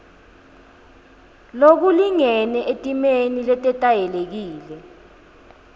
lokulingene etimeni letetayelekile